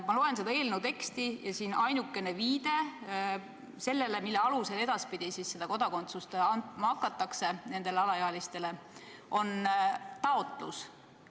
Ma loen seda eelnõu teksti ja näen, et ainukene asi, mille alusel edaspidi kodakondsust andma hakatakse nendele alaealistele, on taotlus.